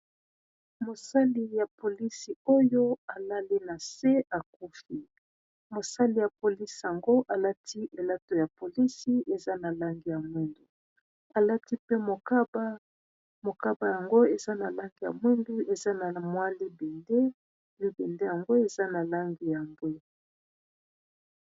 Mosali ya polisi oyo alali na se akufi, mosali ya polisi yango alati elato ya polisi eza na langi ya mwindu alati pe mokaba. Mokaba yango eza na langi ya mwindu, eza na mwa libende, libende yango eza na langi ya mbwe.